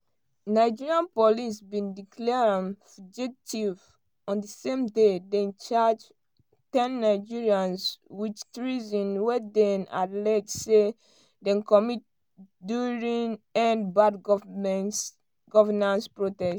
nigeria police bin declare am fugitive on di same day dem charge ten nigerians wit treason wey dem allege say dem commit during endbadgovernance protest.